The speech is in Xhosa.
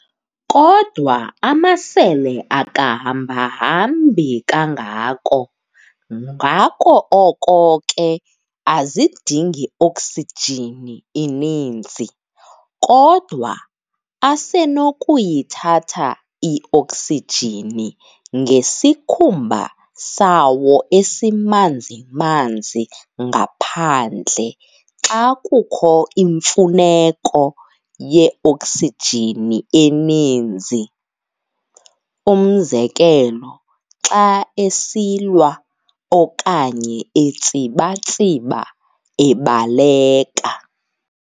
Kodwa amasele akahambahambi kangako, ngako oko ke azidingi oksijini ininzi, kodwa asenokuyithatha i-oksijini ngesikhumba sawo esimanzi manzi ngaphandle xa kukho imfuneko ye-oksijini eninzi. Umzekelo, xa esilwa okanye etsiba-tsiba ebaleka.